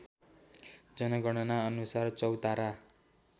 जनगणना अनुसार चौतारा